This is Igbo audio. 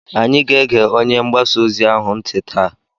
Anyị ga-ege onye mgbasaozi ahụ ntị taa.